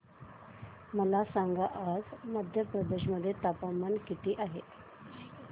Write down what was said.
मला सांगा आज मध्य प्रदेश मध्ये तापमान किती आहे